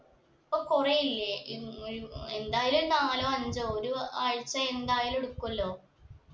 അപ്പൊ കൊറേയില്ലേ എന്തായാലും നാലോ അഞ്ചോ ഒരു ആഴ്ച എന്തായാലും എടക്കുവല്ലോ